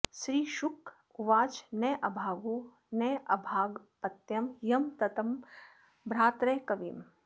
श्रीशुक उवाच नाभागो नभगापत्यं यं ततं भ्रातरः कविम्